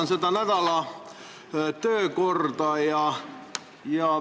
Ma vaatan nädala päevakorda.